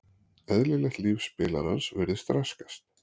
Eðlilegt líf spilarans virðist raskast.